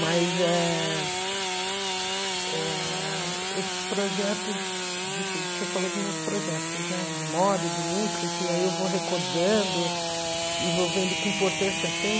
Mas eh eh esses projetos, de fu você falou dos meus projetos né de moda, de música, que aí eu vou recordando e vou vendo que importância tem.